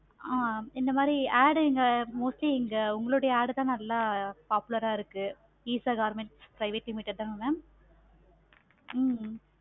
ஆஹ் இந்த மாதிரி ad இங்க mostly இங்க உங்களோட ad தான் ரொம்ப popular ஆஹ் இருக்கு. eesa government private limited தானாங்க mam